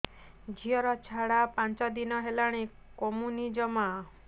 ଝିଅର ଝାଡା ପାଞ୍ଚ ଦିନ ହେଲାଣି କମୁନି ଜମା